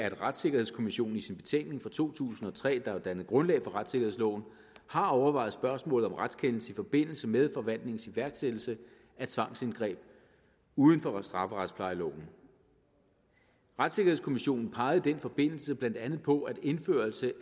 at retssikkerhedskommissionen i sin betænkning fra to tusind og tre der jo dannede grundlag for retssikkerhedsloven har overvejet spørgsmålet om retskendelse i forbindelse med forvaltningens iværksættelse af tvangsindgreb uden for strafferetsplejeloven retssikkerhedskommissionen pegede i den forbindelse blandt andet på at indførelse